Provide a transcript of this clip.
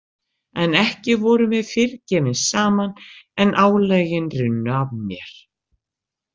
En ekki vorum við fyrr gefin saman en álögin runnu af mér.